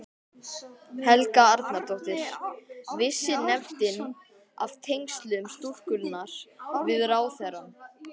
Helga Arnardóttir: Vissi nefndin af tengslum stúlkunnar við ráðherrann?